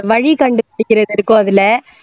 அது வழி கண்டு பிடிக்கிறது இருக்கும் அதுல